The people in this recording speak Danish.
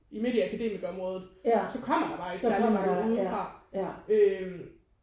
Midt i akademikerområdet så kommer der bare ikke særligt mange udefra øh